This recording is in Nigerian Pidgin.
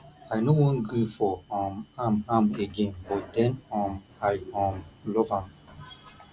i no wan gree for um am am again but den um i um love am